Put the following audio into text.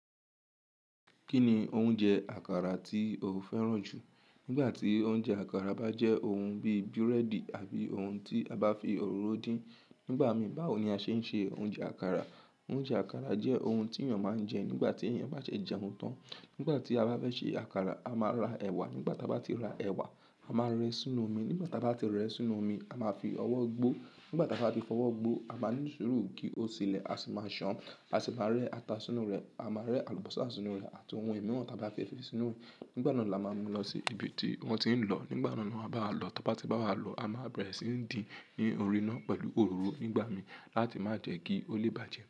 Kí ni oúnjẹ àkàrà tí o fẹ́ràn jù? Nígbà tí oúnjẹ àkàrà bá jẹ́ ohun bí búrẹ́dì àbí ohun tí a bá fi òróró dín. Nígbà mí báwo ní a ṣe ń ṣe oúnjẹ àkàrà. Oúnjẹ àkàrà jẹ́ ohun tí èèyàn máa ń jẹ nígbà tí èèyàn bá ṣe jẹun tán. Nígbà tí a bá fẹ́ ṣe àkàrà, a máa ra ẹ̀wà. Nígbà tí a bá ti ra ẹ̀wà, a máa rẹ́ sínú omi. Nígbà tí a bá ti rẹ́ sínú omi, a máa fi ọwọ́ gbo. Nígbà tí a bá fi ọwọ́ gbo, a máa ní sùúrù kí ó sílẹ̀, a sì máa ṣán. A sì máa rẹ́ ata sínú rẹ̀, a máa rẹ́ àlùbọ́sà sínú rẹ̀ àti ohun mìíràn tí a bá fẹ́ fi sínú rẹ̀. Nígbà náà la máa mú lọ sí ibi tí wọ́n ti ń lọ. Nígbà náà ni wọ́n a báa wa lọ. Tí wọ́n bá ti bá wa lọ, a máa bẹ̀rẹ̀ sí í dín ní orí iná pẹ̀lú òróró nígbà mí láti má jẹ́ kí ó lè bàjẹ́.